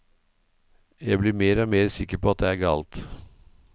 Jeg blir mer og mer sikker på at det er galt.